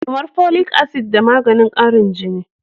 Kamar folic acid da maganin karin jini.